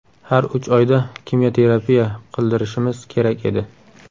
Har uch oyda kimyoterapiya qildirishimiz kerak edi.